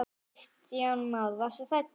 Kristján Már: Varstu hrædd?